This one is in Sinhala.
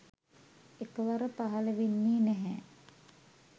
එකවර පහළ වෙන්නේ නැහැ.